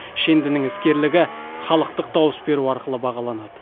шендінің іскерлігі халықтық дауыс беру арқылы бағаланады